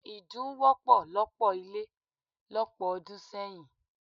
Idun wọ́pọ̀ lọ́pọ̀ ilé lọ́pọ̀ ọdún sẹ́yìn.